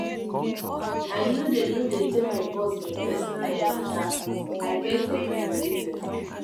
i no dey no dey tell my boss my personal um mata i get um my reason.